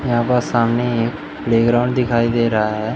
यहां पर सामने एक प्लेग्राउंड दिखाई दे रहा है।